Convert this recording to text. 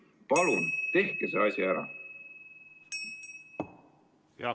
Palun tehke see asi ära!